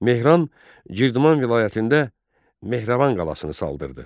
Mehran Girdiman vilayətində Mehrəvan qalasını saldırdı.